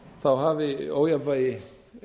lána hafi ójafnvægi